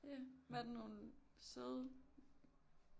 Ja var der nogle søde piger